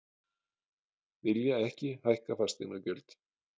Vilja ekki hækka fasteignagjöld